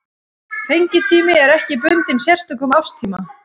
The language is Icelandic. Fengitími er ekki bundinn sérstökum árstíma.